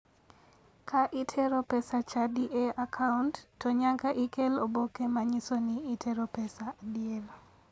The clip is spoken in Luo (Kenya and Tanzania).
Ka itero pes chadi e akaunt to nyaka ikel oboke manyiso ni itero pesa adier.